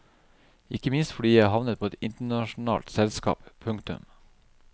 Ikke minst fordi jeg har havnet på et internasjonalt selskap. punktum